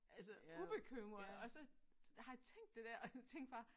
Altså ubekymret og så har jeg tænkt det der og jeg tænkte bare